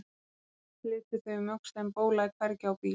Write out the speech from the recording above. Jafnt og þétt litu þau um öxl en bólaði hvergi á bíl.